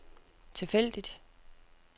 tilfældigt